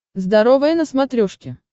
здоровое на смотрешке